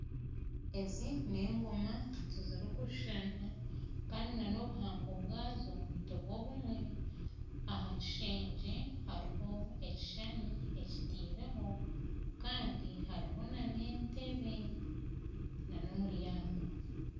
Ezi n'engooma tizirikushushana kandi na n'obuhango bwazo tibwo bumwe aha kishegye hariho ekishuushani ekitireho kandi hariho na n'entebe n'omuryango.